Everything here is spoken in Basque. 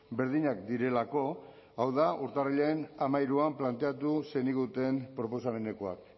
berdinak direlako hau da urtarrilaren hamairuan planteatu zeniguten proposamenekoak